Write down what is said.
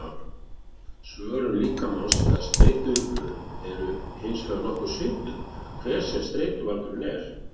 Svörun líkamans eða streituviðbrögðin eru hins vegar nokkuð svipuð, hver sem streituvaldurinn er.